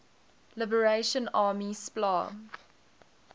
liberation army spla